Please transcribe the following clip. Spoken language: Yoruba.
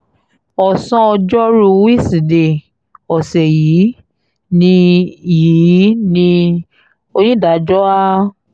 ọ̀sán ọjọ́rùú wíṣídẹ̀ẹ́ ọ̀sẹ̀ yìí ni yìí ni onídàájọ́ a